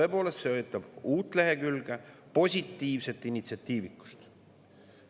Tõepoolest, see uut lehekülge, positiivset initsiatiivikust.